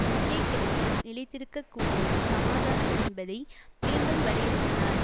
மத்திய கிழக்கில் நிலைத்திருக்க கூடிய சமாதானம் என்பதை மீண்டும் வலியுறுத்தினார்